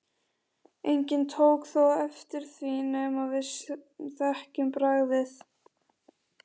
Enginn tók þó eftir því nema við sem þekkjum bragðið.